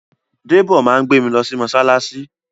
Dèbó máa gbé mi lọ sí mọ́ṣáláṣí